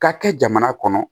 Ka kɛ jamana kɔnɔ